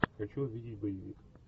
хочу увидеть боевик